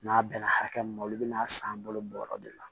N'a bɛnna hakɛ min ma olu bɛ n'a san balo bɔyɔrɔ de la